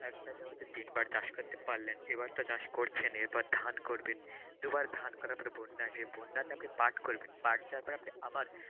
একটা জমিতে তিনবার চাষ করতে পারলেন, এবার তো চাষ করছেন, এরপর ধান করবেন দুবার ধান করার পর বন্যা আসবে বন্যাতে আপনি পাট করবেন।